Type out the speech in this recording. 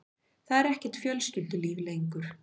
Það er ekkert fjölskyldulíf lengur.